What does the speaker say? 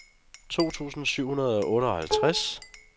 to tusind syv hundrede og otteoghalvtreds